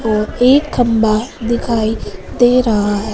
और एक खंबा दिखाई दे रहा।